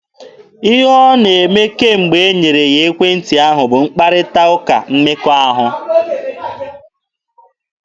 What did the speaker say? Ihe ọ na-eme kemgbe e nyere ya ekwentị ahụ bụ mkparịta ụka mmekọahụ.